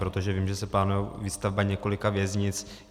Protože vím, že se plánuje výstavba několika věznic.